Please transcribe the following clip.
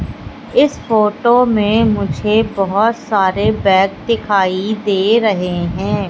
इस फोटो मे मुझे बहोत सारे बैग दिखाई दे रहे है।